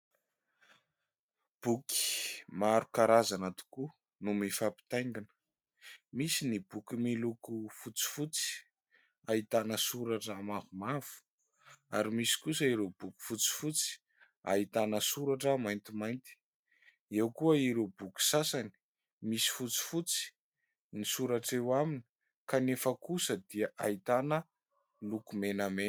Boky maro karazana tokoa no mifampitaingina, misy ny boky miloko fotsifotsy, ahitana soratra mavomavo ary misy kosa ireo boky fotsifotsy, ahitana soratra maintimainty ; eo koa ireo boky sasany, misy fotsifotsy ny soratra eo aminy, kanefa kosa dia ahitana loko menamena.